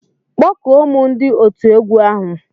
Kpọkụọ mụ ndi otu egwu ahu.